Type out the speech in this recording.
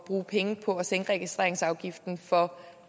bruge penge på at sænke registreringsafgiften for